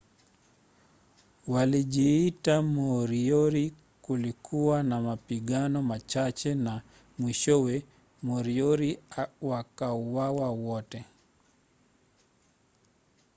walijiita moriori kulikuwa na mapigano machache na mwishowe moriori wakauawa wote